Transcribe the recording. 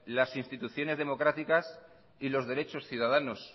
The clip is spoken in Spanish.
las instituciones democráticas y los derechos ciudadanos